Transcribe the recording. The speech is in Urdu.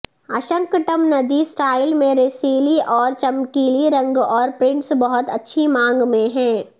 اشنکٹبندیی سٹائل میں رسیلی اور چمکیلی رنگ اور پرنٹس بہت اچھی مانگ میں ہیں